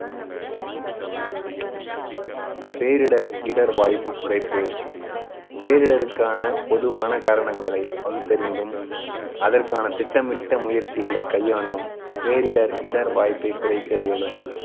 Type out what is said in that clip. பேரிடர் இடர் வாய்ப்பு குறைப்பு பேரிடருக்கான பொதுவான காரணங்களை பகுத்தறிந்தும் அதற்கான திட்டமிட்ட முயற்சிகளை கையாண்டும் பேரிடர் இடர் வாய்ப்பை குறைக்க இயலும்